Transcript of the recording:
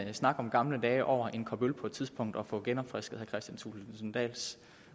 en snak om gamle dage over en kop øl på et tidspunkt og få genopfrisket kristian thulesen dahls